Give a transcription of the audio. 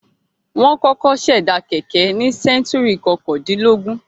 Wọ́n kọ̀kọ́ ṣẹ̀dá kẹ̀kẹ́ ní sẹ́ńtúrì kọkàndínlógún.